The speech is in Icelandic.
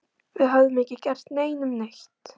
Við höfðum ekki gert neinum neitt.